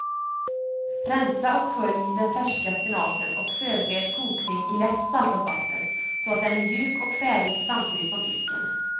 Rensa och skölj den färska spenaten och förbered kokning i lätt saltat vatten så att den är mjuk och färdig samtidigt som fisken.